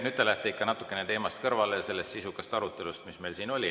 Nüüd te lähete ikka natuke kõrvale teemast, sellest sisukast arutelust, mis meil siin oli.